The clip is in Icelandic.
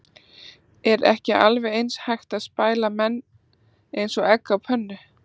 Er ekki alveg eins hægt að spæla menn eins og egg á pönnu?